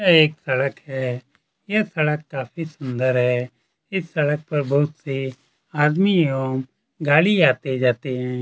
यह एक सड़क है यह सड़क काफी सुंदर है इस सड़क पर बहुत से आदमी एवं गाड़ी आते जाते है।